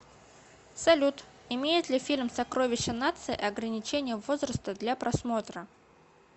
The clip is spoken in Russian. салют имеет ли фильм сокровища нации ограничения возраста для просмотра